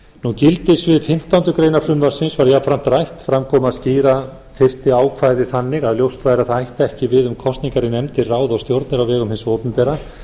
um gildissvið fimmtándu greinar frumvarpsins var jafnframt rætt fram kom að skýra þyrfti ákvæði þannig að ljóst væri að það ætti ekki við um kosningar í nefnd til ráða og stjórna á vegum hins opinbera